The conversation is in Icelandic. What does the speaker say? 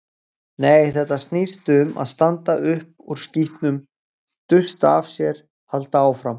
Nei, þetta snýst um að standa upp úr skítnum, dusta af sér, halda áfram.